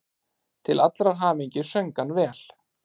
Til allrar hamingju söng hann vel!